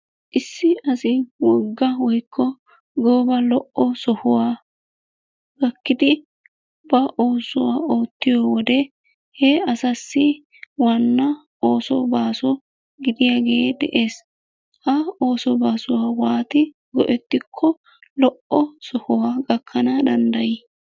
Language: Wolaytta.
Issi asi wogga woykko gooba lo"o sohuwaa gakkidi ba oosuwa oottiyo wode he asassi waanna ooso baaso gidiyaage de'ees. Ha ooso baaso waati go"etiko lo"o sohuwa gakkana dandday?